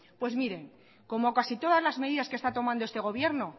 pues miren pues como casi todas las medidas que esta tomando este gobierno